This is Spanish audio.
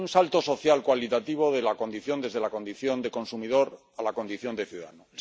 Y hay un salto social cualitativo desde la condición de consumidor a la condición de ciudadano.